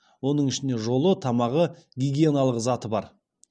оның ішінде жолы тамағы гигиеналық заты бар